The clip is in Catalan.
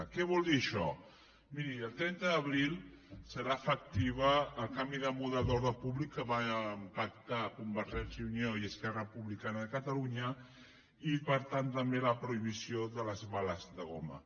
què vol dir això miri el trenta d’abril serà efectiu el canvi de model d’ordre públic que van pactar convergència i unió i esquerra republicana de catalunya i per tant també la prohibició de les bales de goma